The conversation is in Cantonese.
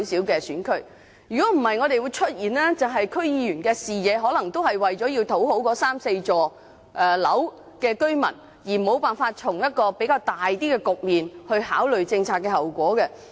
否則，區議員的視野只會局限於為了討好三四幢樓宇的居民，沒有辦法從較高較廣的層面去考慮政策後果。